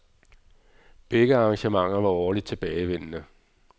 Begge arrangementer var årligt tilbagevendende.